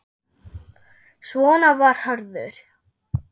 Svona var Hörður.